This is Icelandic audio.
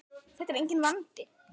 Þetta er enginn vandi!